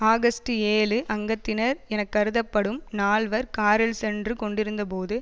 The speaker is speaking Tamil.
ஆகஸ்ட் ஏழு அங்கத்தினர் எனக்கருதப்படும் நால்வர் காரில் சென்று கொண்டிருத்த போது